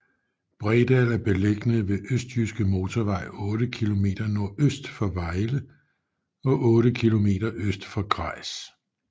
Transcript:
Bredal er beliggende nær Østjyske Motorvej otte kilometer nordøst for Vejle og otte kilometer øst for Grejs